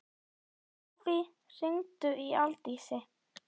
Hófí, hringdu í Aldísi.